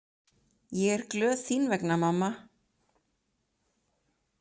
Ég er glöð þín vegna mamma.